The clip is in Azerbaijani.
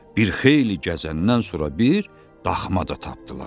Bir xeyli gəzəndən sonra bir daxma da tapdılar.